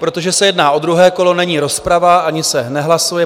Protože se jedná o druhé kolo, není rozprava ani se nehlasuje.